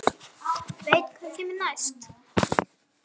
Veit hvað kemur næst.